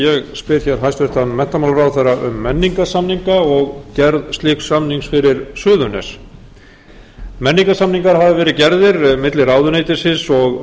spyr hér hæstvirtur menntamálaráðherra um menningarsamninga og gerð slíks samnings fyrir suðurnes menningarsamningar hafa verið gerðir milli ráðuneytisins og